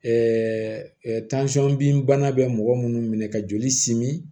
bin bana bɛ mɔgɔ minnu minɛ ka joli simin